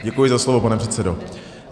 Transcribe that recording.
Děkuji za slovo, pane předsedo.